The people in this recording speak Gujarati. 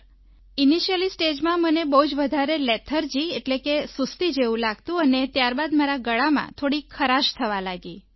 સર ઇનિશિયલી stageમાં મને બહુ જ વધારે લેથાર્જી એટલે કે સુસ્તી જેવું લાગતું અને ત્યારબાદ મારા ગળામાં થોડી ખરાશ થવા લાગી